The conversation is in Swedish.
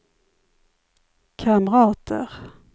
kamrater